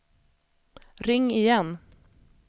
ring igen